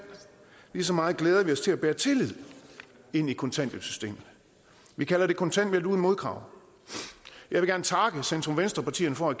lige så meget glæder vi os til at bære tillid ind i kontanthjælpssystemet vi kalder det kontanthjælp uden modkrav jeg vil gerne takke centrum venstre partierne for at